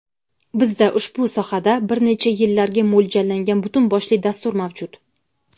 Bizda ushbu sohada bir necha yillarga mo‘ljallangan butun boshli dastur mavjud.